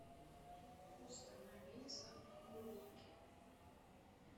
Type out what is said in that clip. установи запах клубники